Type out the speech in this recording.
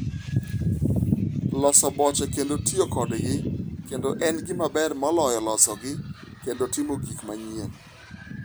Loso boche kendo tiyo kodgi kendo en gima ber moloyo losogi kendo timo gik manyien.